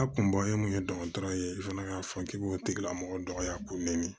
A kun bɔlen mun ye dɔgɔtɔrɔ ye i fana k'a fɔ k'i b'o tigilamɔgɔ dɔgɔya k'o nɛni